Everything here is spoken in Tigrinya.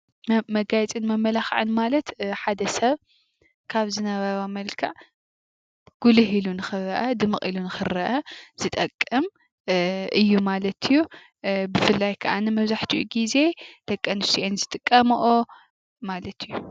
መጋየፅን መመላኽዕን ማለት ሓደ ሰብ ካብ ዝነበሮ መልክዕ ጉልህ ኢሉ ንኽረአ ድምቕ ኢሉ ንኽረአ ዝጠቅም እዩ ማለት እዩ፡፡ ብፍላይ ካኣኒ መብዛሕትኡ ጊዜ ደቂ ኣንስትዮ እየን ዝጥቀመኦ ማለት እዩ፡፡